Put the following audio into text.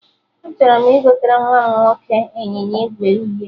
Achọrọ m igotere nwa nwoke ịnyịnya ígwè uhie